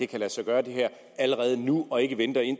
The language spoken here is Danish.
kan lade sig gøre allerede nu og ikke venter